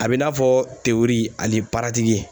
A bɛ i n'a fɔ tewuri ani paratiki.